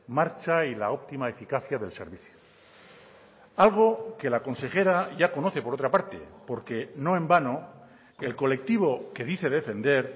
marcha y la óptima eficacia del servicio algo que la consejera ya conoce por otra parte porque no en vano el colectivo que dice defender